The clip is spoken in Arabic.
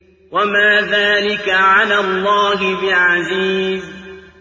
وَمَا ذَٰلِكَ عَلَى اللَّهِ بِعَزِيزٍ